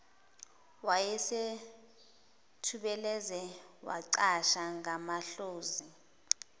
wayesethubeleze wacasha ngamahlozi